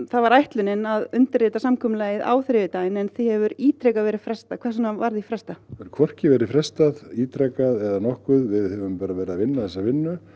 það var ætlunin að undirritað samkomulagið á þriðjudaginn en því hefur ítrekað verið frestað hvers vegna var því frestað því hvorki verið frestað ítrekað eða nokkuð við höfum verið að vinna þessa vinnu